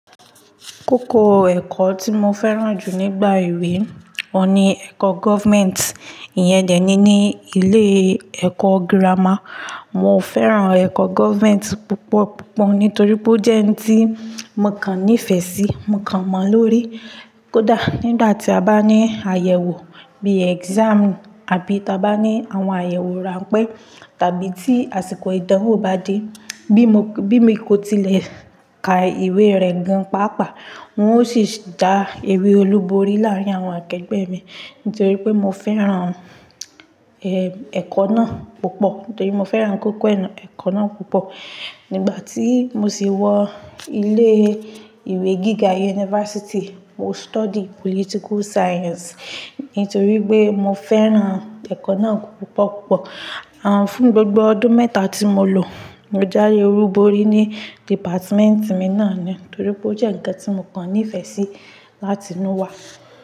Kókó ẹ̀kọ́ tí mo fẹ́ràn jù nígbà èwe, ọun ni ẹ̀kọ́ government. Iyẹn dẹ́ni ní ilé e ẹ̀kọ́ gírámà. Mo fẹ́ràn ẹ̀kọ́ government púpọ̀ púpọ̀ nítorí pé ó jẹ́ ohun tí mo kan nífẹ̀ẹ́ sí, mo kan mọ̀ lórí. Kódà nígbà tí a bá ní àyẹ̀wò bí i exam àbí tí a bá ní àwọn àyẹ̀wò ràńpẹ́ tàbí tí àsìkò ìdánwò bá dé, bí mo, bí mo kò tilẹ̀ ka ìwé rẹ̀ gan páápàá, n ó sì já ewé olúborí láàrín àwọn akẹgbẹ́ mi nítorí pé mo fẹ́ràn, ẹ, ẹ̀kọ́ náà púpọ̀. Nítorí mo fẹ́ràn kókó ẹ̀kọ́ náà púpọ̀. Nígbà tí mo sì wọ ilé ìwé gíga university, mo study political science nítorí pé mo fẹ́ràn ẹ̀kọ́ náà púpọ̀ púpọ̀. Àn, fún gbogbo ọdún mẹ́ta tí mo lò, mo jáwe olúborí ní dìpátímẹ́ntì mi náà ni nítorí pé ó jẹ́ ǹkan tí mo kan nífẹ̀ẹ́ sí láti inú wa.